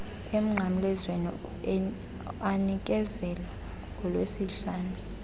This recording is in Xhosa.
emnqamlezweni anikezelwa ngolwesihlanu